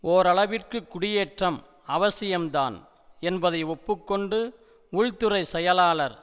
ஓரளவிற்கு குடியேற்றம் அவசியம்தான் என்பதை ஒப்பு கொண்டு உள்துறை செயலாளர்